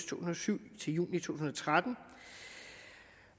tusind og syv til juni to tusind og tretten